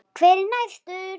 Hver er næstur?